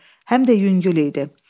Həm də yüngül idi.